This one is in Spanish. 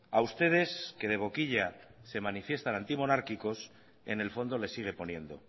a ustedes que de boquilla se manifiestan antimonárquicos en el fondo les sigue poniendo